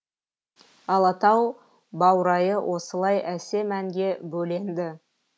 алатау баурайы осылай әсем әнге бөленді